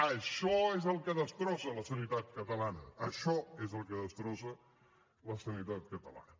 això és el que destrossa la sanitat catalana això és el que destrossa la sanitat catalana